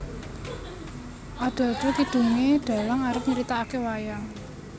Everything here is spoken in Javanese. Ada ada kidungané dhalang arep nyritakake wayang